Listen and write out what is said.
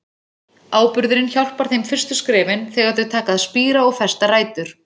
Áburðurinn hjálpar þeim fyrstu skrefin, þegar þau taka að spíra og festa rætur.